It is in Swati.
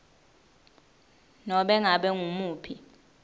nobe ngabe ngumuphi